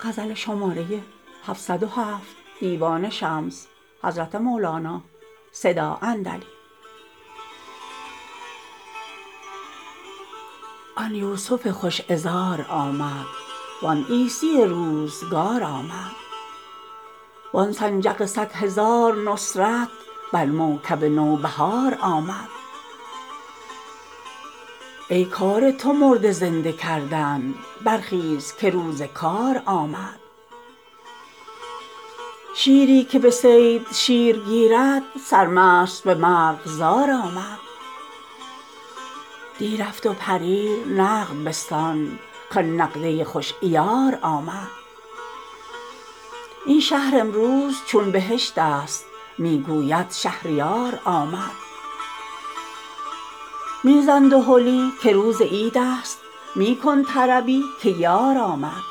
آن یوسف خوش عذار آمد وان عیسی روزگار آمد وان سنجق صد هزار نصرت بر موکب نوبهار آمد ای کار تو مرده زنده کردن برخیز که روز کار آمد شیری که به صید شیر گیرد سرمست به مرغزار آمد دی رفت و پریر نقد بستان کان نقد خوش عیار آمد این شهر امروز چون بهشتست می گوید شهریار آمد می زن دهلی که روز عیدست می کن طربی که یار آمد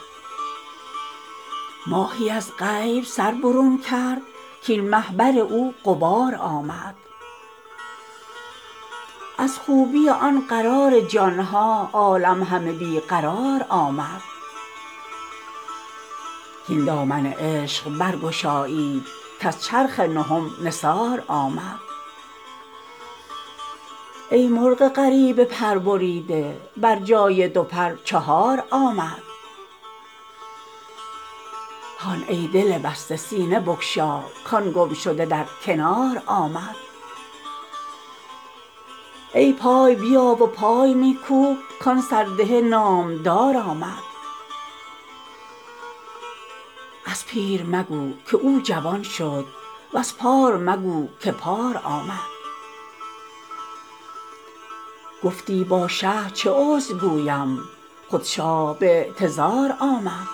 ماهی از غیب سر برون کرد کاین مه بر او غبار آمد از خوبی آن قرار جان ها عالم همه بی قرار آمد هین دامن عشق برگشایید کز چرخ نهم نثار آمد ای مرغ غریب پربریده بر جای دو پر چهار آمد هان ای دل بسته سینه بگشا کان گمشده در کنار آمد ای پای بیا و پای می کوب کان سرده نامدار آمد از پیر مگو که او جوان شد وز پار مگو که پار آمد گفتی با شه چه عذر گویم خود شاه به اعتذار آمد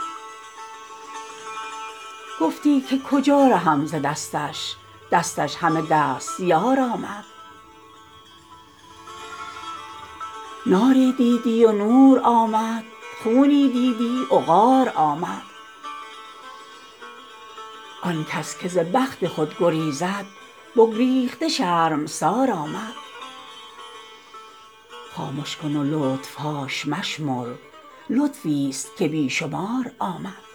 گفتی که کجا رهم ز دستش دستش همه دستیار آمد ناری دیدی و نور آمد خونی دیدی عقار آمد آن کس که ز بخت خود گریزد بگریخته شرمسار آمد خامش کن و لطف هاش مشمر لطفیست که بی شمار آمد